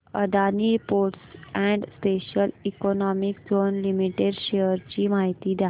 Adani ports and special economic zone limited shares ची माहिती द्या